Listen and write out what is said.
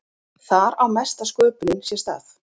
Þar á mesta sköpunin sér stað.